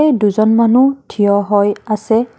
এই দুজন মানুহ থিয় হৈ আছে।